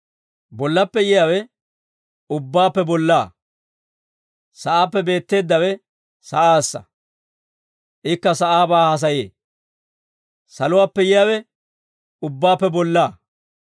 Bollappe yiyaawe ubbaappe bollaa. Sa'aappe beetteeddawe sa'aassa. Ikka sa'aabaa haasayee. Saluwaappe yiyaawe ubbaappe bollaa.